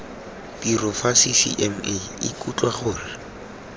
tiro fa ccma ikutlwa gore